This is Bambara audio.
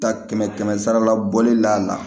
Ta kɛmɛ kɛmɛ sarala bɔli la